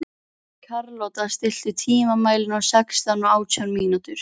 Hann tekur upp tólið: Já, já.